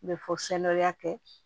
N bɛ fɔ sanawɛrɛ kɛ